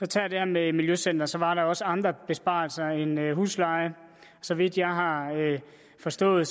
tage det med miljøcentrene også andre besparelser end huslejen så vidt jeg har forstået